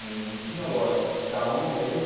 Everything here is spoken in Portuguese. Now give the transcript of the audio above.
Não não tinha lógica da onde é aí que eu.